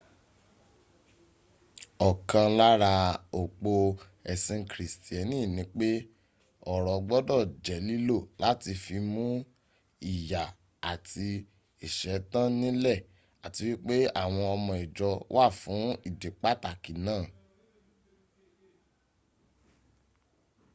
ọ̀kan lára òpó ẹ̀sìn kìrìsìtíẹ́nì ni pé ọrọ̀ gbọ́dọ̀ jẹ́ lílò láti fi mún ìyà àti ìṣẹ́ tán nílẹ̀ àti wípé àwọn owó ìjọ wà fún ìdí pàtàki náà